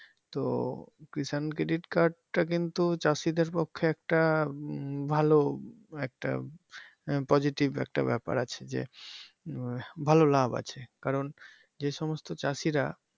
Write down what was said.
তো Kishan Credit Card টা কিন্তু চাষীদের পক্ষে একটা উম ভালো একটা আহ positive একটা ব্যাপার আছে যে উম ভালো লাভ আছে কারন যে সমস্ত চাষীরা